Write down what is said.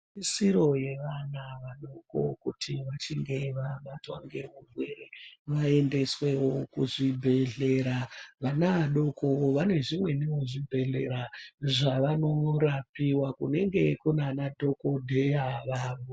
Siro yevana vadoķo kuti vachinge vabatwa nehurwere vaendeswewo kuzvibhedhlera. Vana vadoķo vane zvimwewo zvibhedhlera zvavanorapiwa kunenge kunana dhokodheya vavo.